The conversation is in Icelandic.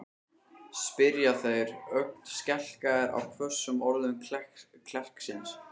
spyrja þeir, ögn skelkaðir á hvössum orðum klerksins.